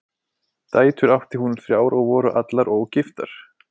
Dætur átti hún þrjár og voru allar ógiftar.